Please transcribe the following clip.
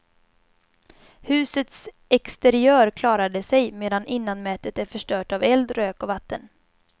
Husets exteriör klarade sig, medan innanmätet är förstört av eld, rök och vatten.